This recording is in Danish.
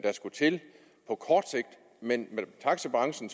os skulle til på kort sigt men taxibranchen